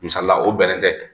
Masalila o bɛn ne tɛ.